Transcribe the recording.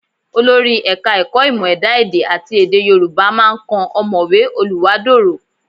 Olórí Ẹ̀ka-ẹ̀kọ́ Ìmọ̀ Ẹ̀dá èdẹ àti Èdè Yorùbá máa kan ọ̀mọ̀wé Oluwádorò